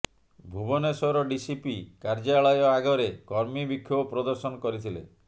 Bhubaneswar DCP କାର୍ଯ୍ୟାଳୟ ଆଗରେ କର୍ମୀ ବିକ୍ଷୋଭ ପ୍ରଦର୍ଶନ କରିଥିଲେ